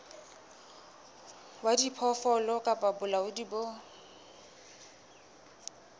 wa diphoofolo kapa bolaodi bo